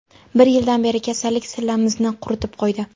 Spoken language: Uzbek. Bir yildan beri kasallik sillamizni quritib qo‘ydi.